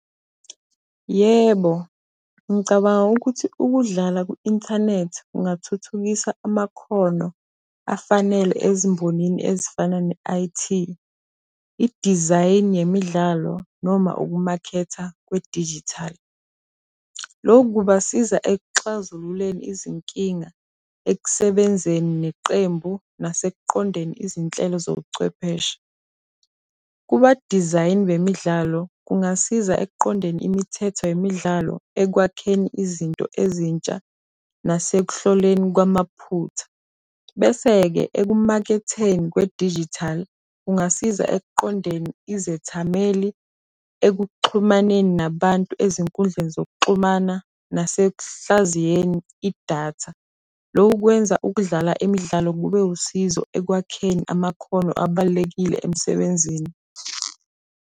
Yebo, ngicabanga ukuthi ukudlala ku-inthanethi kungathuthukisa amakhono afanele ezimbonini ezifana ne-I_T, idizayini yemidlalo noma ukumakhetha kwedijithali. Loku kubasiza ekuxazululeni izinkinga ekusebenzeni neqembu nasekuqondeni izinhlelo zobuchwepheshe. Kuba-design bemidlalo kungasiza ekuqondeni imithetho yemidlalo ekwakheni izinto ezintsha nasekuhloleni kwamaphutha, bese-ke ekumaketheni kwe-digital kungasiza ekuqondeni izethameli ekuxhumaneni nabantu ezinkundleni zokuxumana nasekuhlaziyeni idatha. Loku kwenza ukudlala imidlalo kube wusizo ekwakheni amakhono abalulekile emsebenzini.